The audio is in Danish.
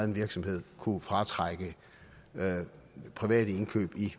en virksomhed kunne fratrække private indkøb i